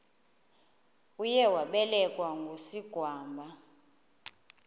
uye wabelekwa ngusigwamba